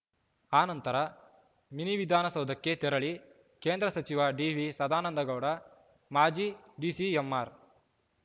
ಆನಂತರ ಮಿನಿವಿಧಾನಸೌಧಕ್ಕೆ ತೆರಳಿ ಕೇಂದ್ರ ಸಚಿವ ಡಿವಿ ಸದಾನಂದಗೌಡ ಮಾಜಿ ಡಿಸಿಎಂ ಆರ್‌